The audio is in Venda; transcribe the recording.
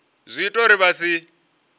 zwi ita uri vha si